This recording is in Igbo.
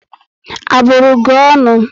A bụrụ gị ọṅụ?